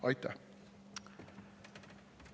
Aitäh!